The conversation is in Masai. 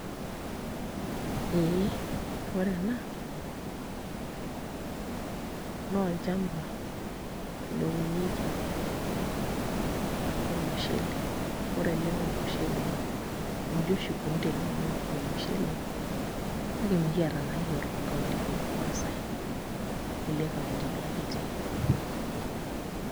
Ee ore ena noolchamba lounieki ormushele , ore ele naa ormushele nji oshi ikoni teneuni ormushele kake mikiata naa iyiook toonkauntini ormaasai, nkulie kauntini ake etii.